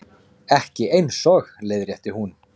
Ekki eins og, leiðrétti hún.